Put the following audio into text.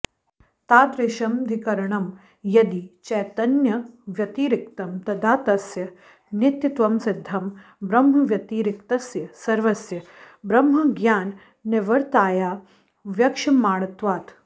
तादृशमधिकरणं यदि चैतन्यव्यतिरिक्तं तदा तस्य नित्यत्वमसिद्धम् ब्रह्मव्यतिरिक्तस्य सर्वस्य ब्रह्मज्ञाननिवर्त्यताया वक्ष्यमाणत्वात्